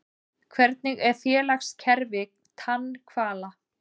Hvernig er félagskerfi tannhvala?